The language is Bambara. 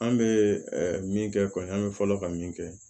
An bɛ min kɛ kɔni an bɛ fɔlɔ ka min kɛ